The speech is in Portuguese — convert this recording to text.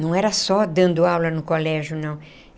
Não era só dando aula no colégio, não.